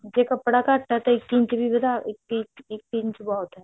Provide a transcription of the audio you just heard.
ਜੇ ਕੱਪੜਾ ਘੱਟ ਹੈ ਤਾਂ ਇੱਕ ਇੰਚ ਵੀ ਵਧਾ ਇੱਕ ਇੰਚ ਇਕ ਇੰਚ ਬਹੁਤ ਹੈ